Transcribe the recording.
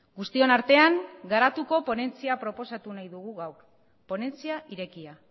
guztion artean garatuko ponentzia proposatu nahi dugu gaur ponentzia irekia